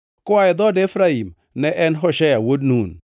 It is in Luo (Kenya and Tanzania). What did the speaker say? koa e dhood Efraim, ne en Hoshea wuod Nun;